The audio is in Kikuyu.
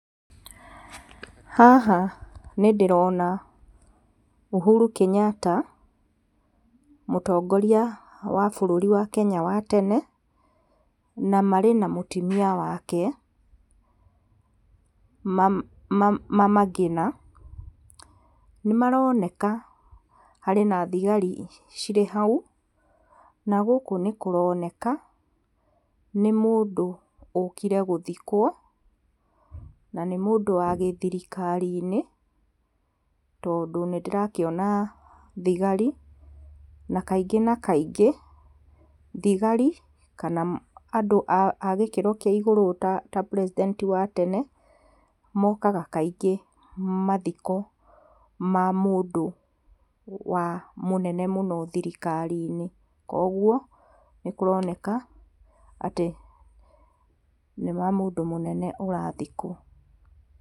Haha nĩ ndĩrona Uhuru Kenyatta, mũtongoria wa bũrũri wa Kenya wa tene na marĩ na mũtumia wake mama Ngina nĩ maroneka harĩ na thigari cirĩ hau, na gũkũ nĩ kũroneka nĩ mũndũ ũkire gũthikwo na nĩ mũndũ wa gĩthirikari-inĩ tondũ nĩ ndĩrakiona thigari, na kaingĩ na kaingĩ thigari kana andũ a gĩkĩro kĩa igũrũ ta president wa tene mokaga kaingĩ mathiko wa mũndũ mũnene thirikari-inĩ. Koguo nĩ kũroneka atĩ nĩ mũndũ mũnene ũrathikwo